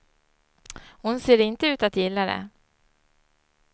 Hon ser inte ut att gilla det.